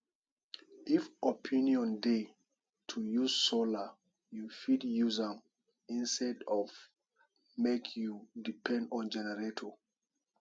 if option dey to use solar you fit use am instead of make you depend on generator